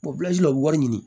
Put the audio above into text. u bɛ wari ɲini